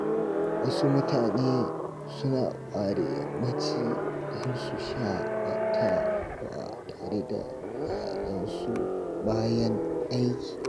Wasu mutane suna ware yammaci don su shaƙatawa tare da iyalansu bayan aiki.